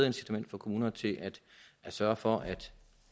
incitament for kommunerne til at sørge for